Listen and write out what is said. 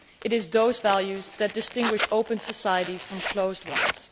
It is those values that distinguish open societies from closed ones.